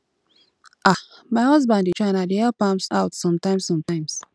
um my husband dey try and i dey help am out sometimes sometimes